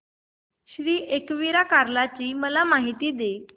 श्री एकविरा कार्ला ची मला माहिती दे